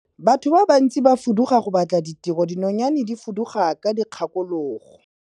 Batho ba bantsi ba fuduga go batla tiro, dinonyane di fuduga ka dikgakologo.